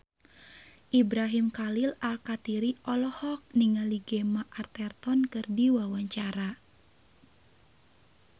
Ibrahim Khalil Alkatiri olohok ningali Gemma Arterton keur diwawancara